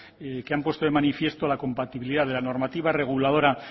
que han puesto de manifiesto la compatibilidad de la normativa reguladora